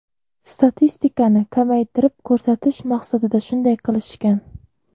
Statistikani kamaytirib ko‘rsatish maqsadida shunday qilishgan.